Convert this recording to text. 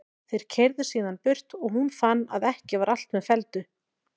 Þeir keyrðu síðan burt og hún fann að ekki var allt með felldu.